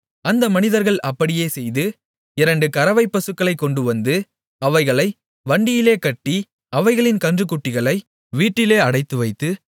அந்த மனிதர்கள் அப்படியே செய்து இரண்டு கறவைப்பசுக்களைக் கொண்டு வந்து அவைகளை வண்டியிலே கட்டி அவைகளின் கன்றுக்குட்டிகளை வீட்டிலே அடைத்துவைத்து